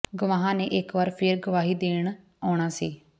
ਗਵਾਹਾਂ ਨੇ ਇਕ ਵਾਰ ਫੇਰ ਗਵਾਹੀ ਦੇਣ ਆਉਣਾ ਸੀ